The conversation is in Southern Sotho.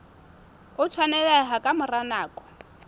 o tshwaneleha ka mora nako